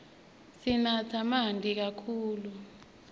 sinatse manti kakhulu